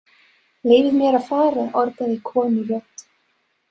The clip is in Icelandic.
Leyfið mér að fara orgaði konurödd.